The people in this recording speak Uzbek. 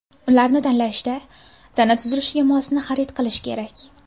Ularni tanlashda tana tuzilishiga mosini xarid qilish kerak.